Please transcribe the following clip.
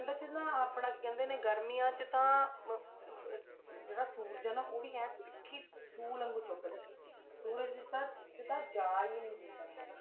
ਠੰਢਾਂ 'ਚ ਨਾ ਆਪਣਾ ਕੀ ਕਹਿੰਦੇ ਨੇ ਗਰਮੀਆਂ 'ਚ ਤਾਂ ਜਿਹੜਾ ਸੂਰਜ ਹੈ ਨਾ ਉਹ ਵੀ ਇਉਂ ਤਿੱਖੀ ਸ਼ੂਲ ਵਾਂਗੂ ਚੁੱਭਦਾ ਹੈ, ਸੂਰਜ ਤਾਂ 'ਚ ਤਾਂ ਜਾ ਹੀ ਨੀ ਹੁੰਦਾ ਹੈਗਾ।